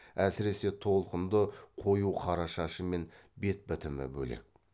әсіресе толқынды қою қара шашы мен бет бітімі бөлек